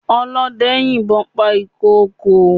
Ọlọ́dẹ yìnbọn pa ìkokò.